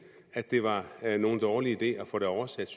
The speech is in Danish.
at det var nogen dårlig idé at få det oversat